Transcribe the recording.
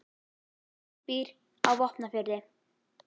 Atli býr á Vopnafirði.